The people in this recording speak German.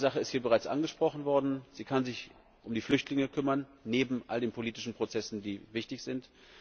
Ich glaube, eine Sache ist hier bereits angesprochen worden Sie kann sich um die Flüchtlinge kümmern, neben all den politischen Prozessen, die wichtig sind.